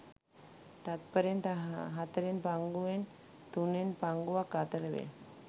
තත්ත්පරෙන් හතරෙන් පංගුවෙන් තුනෙන් පංගුවක් අතර වේ.